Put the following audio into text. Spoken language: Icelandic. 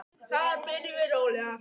Þar byrjum við mjög rólega.